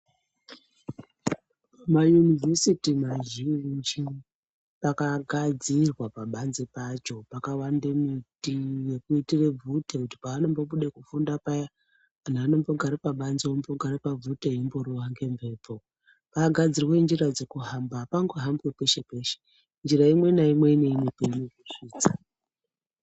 MaUnivhesiti mazhinji pakagadzirwa pabanzi pacho pakawande miti yekuitire bvute kuti pavanombobude kufunda paya anhu anombogare pabanze ombogare pabvute eimborohwa ngemhepo. Pakagadzirwa njira dzekuhamba apangohambwi peshe peshe njira imwe naimwe ine kweinokusvisa.